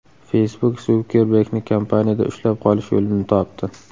Facebook Sukerbergni kompaniyada ushlab qolish yo‘lini topdi.